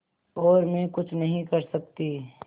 और मैं कुछ नहीं कर सकती